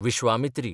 Vishwamitri